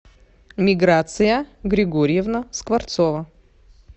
миграция григорьевна скворцова